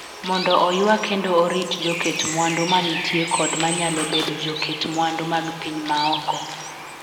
Mondo oywa kendo orit joket mwandu ma nitie kod manyalo bedo joket mwandu mag piny ma oko